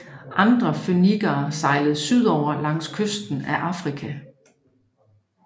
Andre fønikere sejlede sydover langs kysten af Afrika